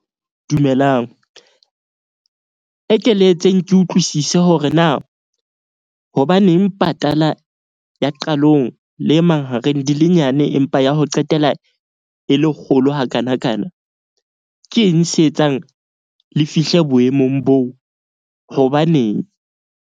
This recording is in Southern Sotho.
Dumelang, e ke le etseng ke utlwisise hore na, hobaneng patala ya qalong le e mahareng di le nyane, empa ya ho qetela e le kgolo hakanakana? Ke eng se etsang le fihle boemong boo, hobaneng?